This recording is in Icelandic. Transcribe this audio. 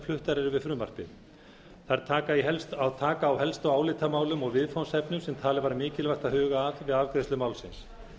fluttar eru við frumvarpið þær taka á helstu álitamálum og viðfangsefnum sem talið var mikilvægt að huga að við afgreiðslu málsins